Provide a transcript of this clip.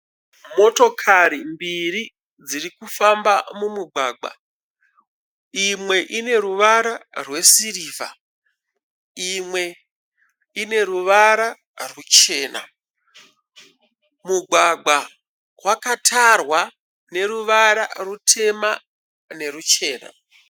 Motokari mbiri dziri kufamba mumugwagwa. Imwe ine ruvara rwesirivha, imwe ine ruvara ruchena. Mugwagwa wakatarwa neruvara rutema nerwuchena.